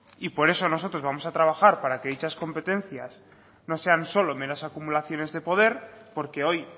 y por eso nosotros vamos a trabajar para que dichas competencias no sean solo meras acumulaciones de poder porque hoy